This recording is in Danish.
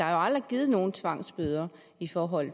aldrig givet nogen tvangsbøder i forhold